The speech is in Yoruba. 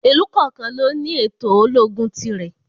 Ìlú kọ̀ọ̀kan ló ní ètò ológun ti rẹ̀.